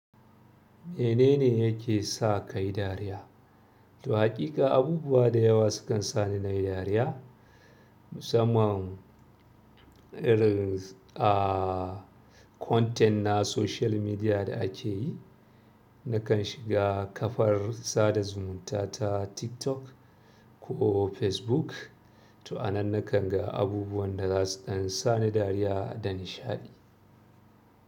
Me nene yake sa kayi dariya? Haƙika abubuwa da yawa sukan sa ni nayi dariya, musamman irin ah content na social media da ake yi. Nakan shiga kafar sada zumunta ta TikTok ko Facebook, to a nan nakan ga abubuwan da zasu ɗan sa ni dariya da nishaɗi.